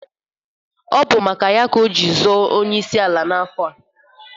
Ọ bụ maka ya ka o ji zọọ onyeisi ala n'afọ a.